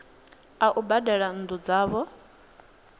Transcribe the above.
a u badela nnu dzavho